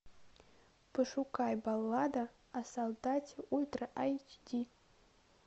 пошукай баллада о солдате ультра айч ди